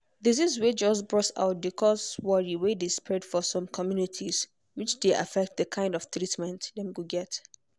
disease way just burst out dey cause worry way dey spread for some communities which dey affect the kind of treatment dem go get.